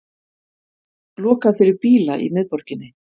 Lokað fyrir bíla í miðborginni